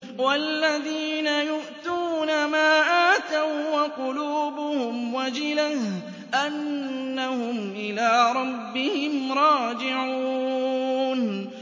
وَالَّذِينَ يُؤْتُونَ مَا آتَوا وَّقُلُوبُهُمْ وَجِلَةٌ أَنَّهُمْ إِلَىٰ رَبِّهِمْ رَاجِعُونَ